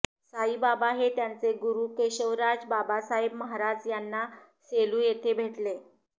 साईबाबा हे त्यांचे गुरू केशवराज बाबासाहेब महाराज यांना सेलू येथे भेटले